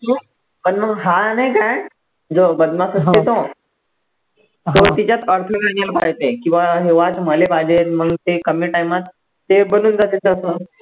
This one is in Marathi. पण मग हा नाही का जो बदमाश असते तो तो तिच्यात किंवा हा watch मले पाहिजे म्हणून ते कमी time त ते बनून जाते तसं